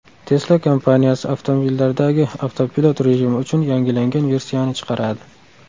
Tesla kompaniyasi avtomobillardagi avtopilot rejimi uchun yangilangan versiyani chiqaradi.